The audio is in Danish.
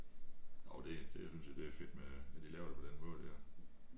Jo det det synes jeg det er fedt med når de laver det på den måde der